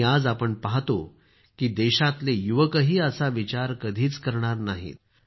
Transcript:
आणि आज आपण पाहतो की देशातले युवकही असा विचार कधीच करणार नाहीत